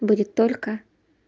будет только